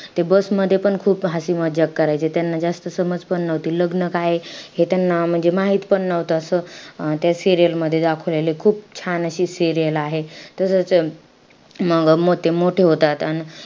Bus मध्ये पण खूप हसी-मजाक करायचे. त्यांना जास्त समज पण नव्हती. लग्न काये हे त्यांना म्हणजे माहितपण नव्हतं. असं त्या serial मध्ये दाखवलेलंय. खूप छान अशी serial आहे. तर मंग ते मोठे होतात अन,